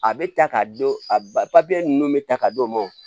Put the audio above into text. A bɛ ta k'a d'o a ba ninnu bɛ ta ka d'o ma